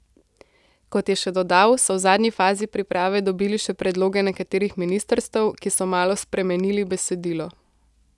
Kot je še dodal, so v zadnji fazi priprave dobili še predloge nekaterih ministrstev, ki so malo spremenili besedilo.